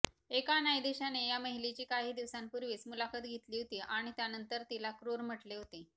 एका न्यायाधीशाने या महिलेची काही दिवसांपूर्वीच मुलाखत घेतली होती आणि त्यानंतर तिला क्रुर म्हटले होते